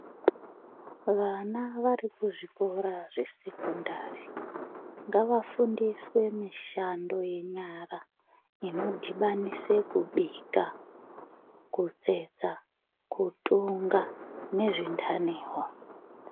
Vana vari kuzvikora zvesekondari ngavafundiswe mishando yenyara inodhibanise kubika kutsetsa kutunga nezvindaniwo.